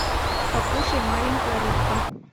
покушай маленькая рыбка